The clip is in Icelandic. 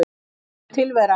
Hún er tilveran.